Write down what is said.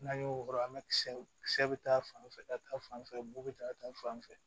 N'an y'o weele an bɛ kisɛ kisɛ bɛ ta fan fɛ ka taa fan fɛ bo bɛ taa ka taa fan fɛ